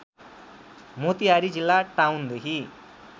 मोतिहारी जिल्ला टाउनदेखि